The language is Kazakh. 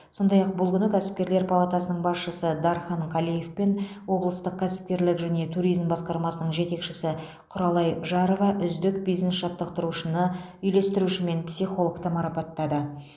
сондай ақ бұл күні кәсіпкерлер палатасының басшысы дархан қалиев пен облыстық кәсіпкерлік және туризм басқармасының жетекшісі құралай жарова үздік бизнес жаттықтырушыны үйлестіруші мен психологты марапаттады